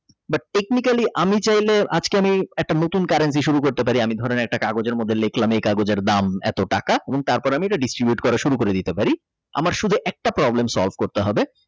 বা technology আমি চাইলে আজকে আমি একটা নতুন Currency শুরু করতে পারি আমি ধরেন একটি কাগজের মধ্যে লিখলাম এই কাগজের দাম এত টাকা এবং তারপরে ওটা Distribute করা শুরু করে দিতে পারি আমার শুধু একটা Problem solve করতে হবে।